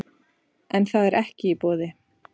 En það er ekki í boði